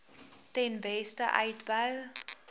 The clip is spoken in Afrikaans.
ten beste uitbou